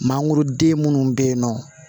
Mangoroden minnu bɛ yen nɔ